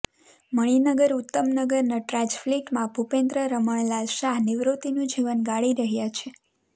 મણિનગર ઉત્તમનગર નટરાજ ફ્લેટમાં ભૂપેન્દ્ર રમણલાલ શાહ નિવૃત્તિનું જીવન ગાળી રહ્યા છે